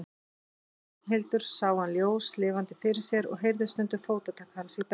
Ragnhildur sá hann ljóslifandi fyrir sér og heyrði stundum fótatak hans í brekkunni.